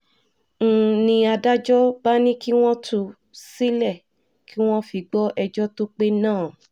ń ní adájọ́ bá ní kí wọ́n tú u sílẹ̀ kí wọ́n fi gbọ́ ẹjọ́ tó pé náà